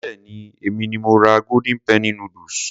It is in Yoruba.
Béèni èmi ni mo ra golden penny noodles.